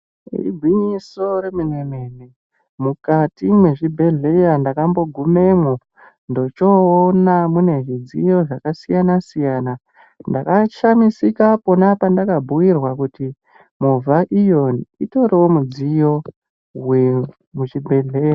Igwinyiso remene mene mukati mezvibhedhlera ndakambogumamo ndochoona zvidziyo zvakasiyana siyana ndochosvika pandakabhuirzwa kuti utoriwo mudziyo wemuzvibhedhlera.